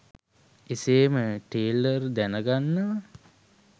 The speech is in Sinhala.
එසේම ටේලර් දැනගන්නවා